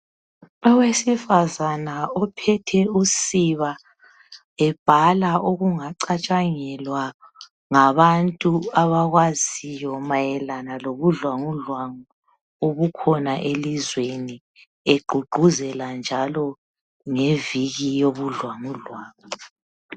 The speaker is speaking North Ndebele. Owesifazane ophethe usiba ebhala okungacatshangelwa ngabantu abakwaziyo mayelana lobudlwangudlwangu obukhona elizweni egqugquzela njalo ngeviki yobudlwangudlwangu .